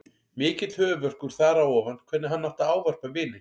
Mikill höfuðverkur þar á ofan hvernig hann átti að ávarpa vininn.